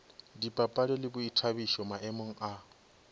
dipapadi le boithabišo maemong a